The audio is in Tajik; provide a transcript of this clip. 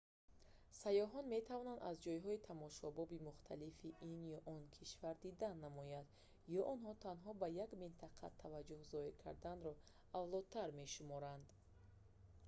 сайёҳон метавонанд аз ҷойҳои тамошобоби мухталифи ин ё он кишвар дидан намоянд ё онҳо танҳо ба як минтақа таваҷҷӯҳ зоҳир карданро авлотар мешуморанд